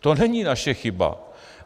To není naše chyba.